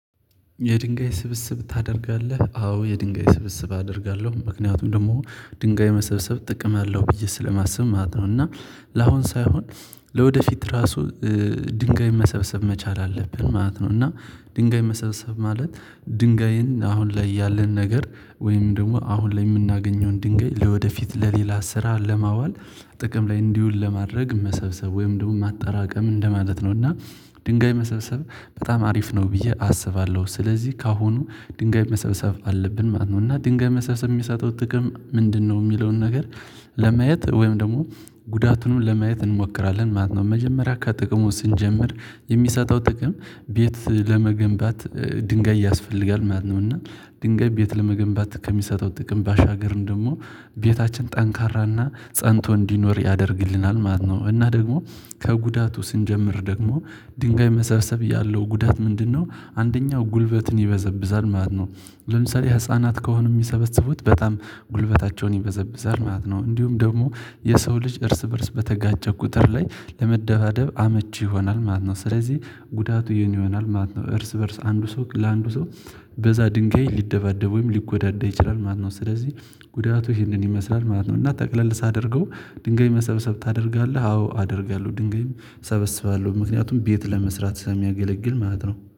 የድንጋይ ስብስብ ታደርጋለህ አዎ የድንጋይ ስብስብ አደርጋለሁ ምክንያቱም ደግሞ ድንጋይ መሰብሰብ ጥቅም አለው ብዬ ስለማስብ ማለት ነው። እና ለአሁን ሳይሆን ለወደፊት ራሱ ድንጋይ መሰብሰብ መቻል አለብን ማለት ነው። እና ድንጋይ መሰብሰብ ማለት ድንጋይን አሁን ላይ ያለን ነገር ወይም ደግሞ አሁን ላይ የምናገኘውን ድንጋይ ለወደፊት ለሌላ ስራ ለማዋል ጥቅም ላይ እንዲውል ለማድረግ መሰብሰብ ወይም ደግሞ ማጠራቀም እንደማለት ነው። እና ድንጋይ መሰብሰብ በጣም አሪፍ ነው ብዬ አስባለሁ። ስለዚህ ከአሁኑ ድንጋይ መሰብሰብ አለብን ማለት ነው እና ድንጋይ መሰብሰብ የሚሰጠው ጥቅም ምንድነው? የሚለውን ነገር ለማየት ወይም ደግሞ ጉዳቱንም ለማየት እንሞክራለን ማለት ነው። መጀመሪያ አካባቢ ከጥቅሙ ስንጀምር የሚሰጠው ጥቅም ቤት ለመገንባት ድንጋይ ያስፈልጋል ማለት ነው። እና ድንጋይ ቤት ለመገንባት ከሚሰጠው ጥቅም ባሻገርን ደግሞ ቤታችን ጠንካራና ፀንቶ እንዲኖር ያደርግልናል ማለት ነው። እና ደግሞ ከጉዳቱ ስንጀምር ደግሞ ድንጋይ መሰብሰብ ያለው ጉዳት ምንድነው? አንደኛው ጉልበትን ይበዘብዛል ማለት ነው ለምሳሌ ህፃናት ከሆኑ የሚሰበስቡት በጣም ጉልበታቸውን ይበዘብዛል ማለት ነው። እንዲሁም ደግሞ የሰው ልጅ እርስ በእርስ በተጋጨ ቁጥር ላይ ለመደባደብ አመቺ ይሆናል ማለት ነው። ስለዚህ ጉዳቱ የኔ ይሆናል ማለት ነው። እርስ በእርስ አንዱ ሰው ለአንዱ ሰው በዛ ድንጋይ ሊደባደብ ወይም ሊጎዳደብ ይችላል ማለት ነው። ስለዚህ ጉዳቱ ይህንን ይመስላል ማለት ነው። ነው እና ጠቅለል ሳደርገው ድንገሜ መሰብሰብ ታደርጋለህ አዎ አደርጋለሁ። ድንጋይም ሰበስባለሁ ምክንያቱም ቤት ለመስራት ስለሚያገለግል ማለት ነው